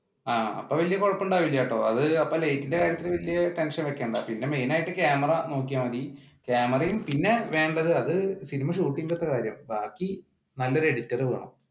ആഹ് അപ്പൊ വല്യ കുഴപ്പം ഉണ്ടാവില്ലട്ടോ അത് അപ്പ ലൈറ്റിന്റെ കാര്യത്തിൽ വല്യ ടെൻഷൻ വെക്കേണ്ട പിന്നെ മെയിൻ ആയിട്ട് ക്യാമറ നോക്കിയാ മതി ക്യാമറയും പിന്നെ വേണ്ടത് അത് സിനിമ shoot ന്റെ കാര്യമാണ് ബാക്കി നല്ലൊരു എഡിറ്റർ വേണം.